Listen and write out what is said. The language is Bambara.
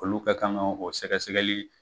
Olu ka kan ka o sɛgɛ sɛgɛli